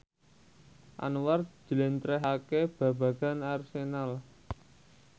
Anwar njlentrehake babagan Arsenal